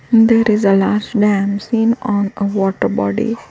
There is an arch dam seen on a water body.